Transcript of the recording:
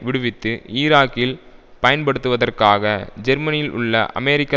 விடுவித்து ஈராக்கில் பயன்படுத்துவதற்காக ஜெர்மனியில் உள்ள அமெரிக்க